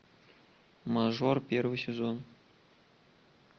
мажор первый сезон